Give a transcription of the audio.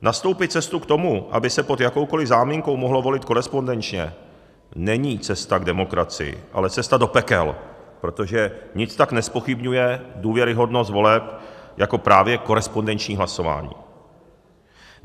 Nastoupit cestu k tomu, aby se pod jakoukoliv záminkou mohlo volit korespondenčně, není cesta k demokracii, ale cesta do pekel, protože nic tak nezpochybňuje důvěryhodnost voleb jak právě korespondenční hlasování.